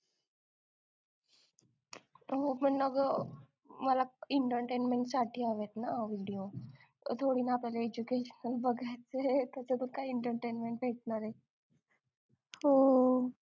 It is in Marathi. तो पण माझं मला इंटरटेनमेंट साठी आलेत ना व्हिडिओ